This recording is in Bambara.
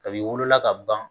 Kabini wolola ka ban